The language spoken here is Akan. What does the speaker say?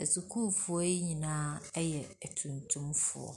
Asukuufoɔ yi nyinaa yɛ atuntumfoɔ.